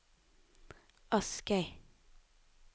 Askøy